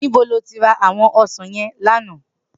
Nibó ló ti rá áwòn òsán yèn làná?